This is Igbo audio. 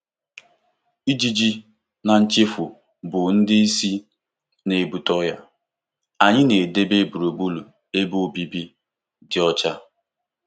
Ijiji na nchafụ bụ ndị isi na-ebute ọrịa; anyị na-edebe gburugburu ebe obibi dị ọcha.